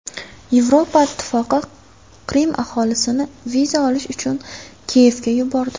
Yevropa Ittifoqi Qrim aholisini viza olish uchun Kiyevga yubordi.